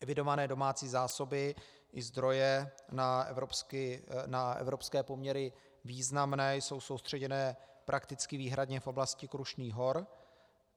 Evidované domácí zásoby i zdroje na evropské poměry významné jsou soustředěné prakticky výhradně v oblasti Krušných hor.